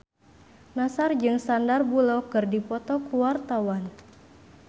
Nassar jeung Sandar Bullock keur dipoto ku wartawan